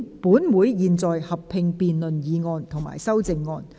本會現在合併辯論議案及修正案。